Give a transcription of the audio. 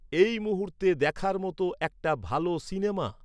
এই মুহূর্তে দেখার মত একটা ভাল সিনেমা?